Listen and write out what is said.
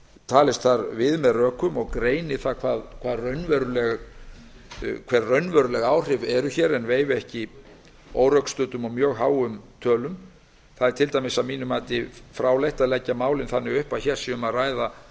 talist þar við með rökum og greini raunveruleg áhrif en veifi ekki órökstuddum og mjög háum tölum að mínu mati er til dæmis fráleitt að leggja málin þannig upp að hér sé um að ræða